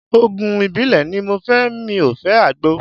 Òògùn ìbílẹ̀ ni mo fẹ́ mi ò fẹ́ Àgbo.